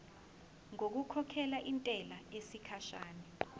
ngokukhokhela intela yesikhashana